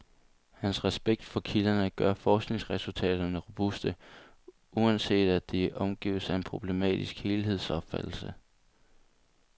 Hans respekt for kilderne gør forskningsresultaterne robuste, uanset at de omgives af en problematisk helhedsopfattelse.